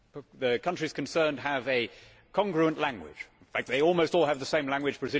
The countries concerned have a congruent language in fact, they almost all have the same language.